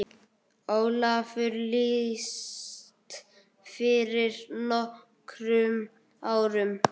Ólafur lést fyrir nokkrum árum.